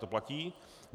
To platí?